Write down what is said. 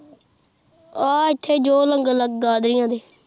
ਆਹ ਇੱਥੇ ਜੋ